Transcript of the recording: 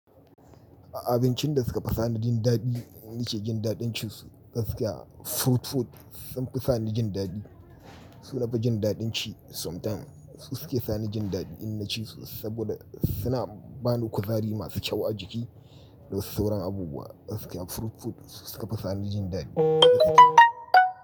Abincin da suka fi sa ni jin daɗi, ni ke jin daɗin cin su, gaskiya fruit fruit sun fi sa ni jin daɗi. Su nafi jin daɗin ci, sometimes su suke sa ni jin daɗi in ci su saboda suna ba ni kuzari masu kyau a jiki da sauran abubuwa. Gaskiya fruit fruit su suka fi sa ni jin daɗi.